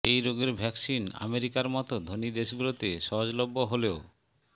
এই রোগের ভ্যাকসিন আমেরিকার মতো ধনী দেশগুলোতে সহজলভ্য হলেও